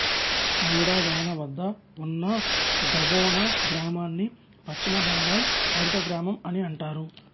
నౌడా థానా వద్ద ఉన్న జఒబొనా గ్రామాన్ని పశ్చిమ బెంగాల్ హరితగ్రామం అని అంటారు